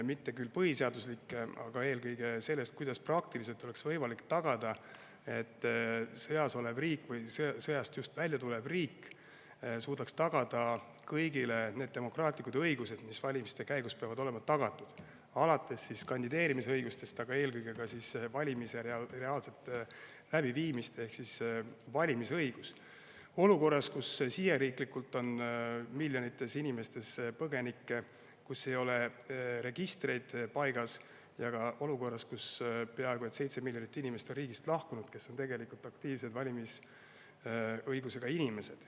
Mitte küll põhiseaduslikke, need takistused on eelkõige selles, kuidas oleks sõjas oleval või sõjast just välja tuleval riigil praktiliselt võimalik tagada kõigile need demokraatlikud õigused, mis valimiste käigus tagatud olema peavad, alates kandideerimisõigusest, aga eelkõige valimiste reaalset läbiviimist ehk valimisõigust olukorras, kus siseriiklikult on miljoneid põgenikke, registrid ei ole paigas ja riigist on lahkunud peaaegu 7 miljonit aktiivse valimisõigusega inimest.